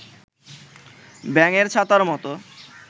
ব্যাঙের ছাতার মতো